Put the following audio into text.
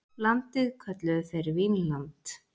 Landið kölluðu þeir Vínland.